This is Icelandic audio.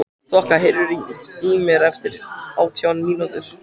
Þoka, heyrðu í mér eftir átján mínútur.